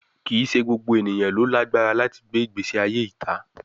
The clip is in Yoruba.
Kii ṣe gbogbo eniyan ni o lagbara lati gbe igbesi aye ita